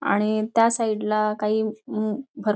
आणि त्या साईडला काही अं भर--